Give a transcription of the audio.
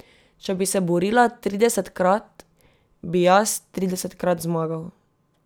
Če bi se borila tridesetkrat, bi jaz tridesetkrat zmagal.